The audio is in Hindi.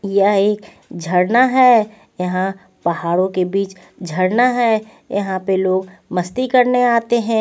यह एक झड़ना है यहां पहाड़ों के बीच झड़ना है यहां पे लोग मस्ती करने आते हैं.